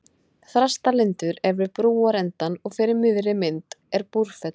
Þrastalundur er við brúarendann og fyrir miðri mynd er Búrfell.